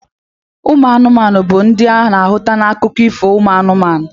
Ụmụ anụmanụ bu ndi ana ahụta na akụkọ Ifo umu anumanu.